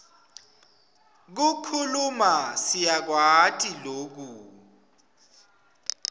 kukhuluma siyakwati loku